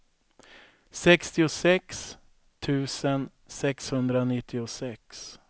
sextiosex tusen sexhundranittiosex